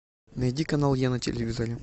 найди канал я на телевизоре